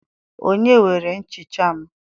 Onye were nchicha m?